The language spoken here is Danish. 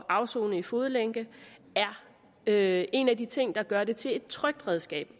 at afsone i fodlænke er en af de ting der gør det til et trygt redskab